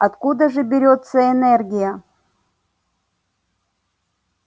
откуда же берётся энергия